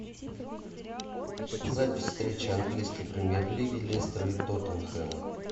запись встречи английской премьер лиги лестера и тоттенхэма